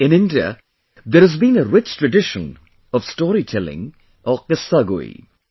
In India there has been a rich tradition of storytelling or Qissagoi